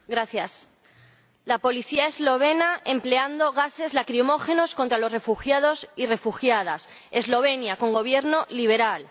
Señor Presidente, la policía eslovena emplea gases lacrimógenos contra los refugiados y refugiadas Eslovenia, con gobierno liberal.